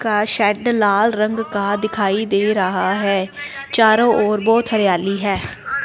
का शेड लाल रंग का दिखाई दे रहा हैं चारों ओर बहोत हरियाली हैं।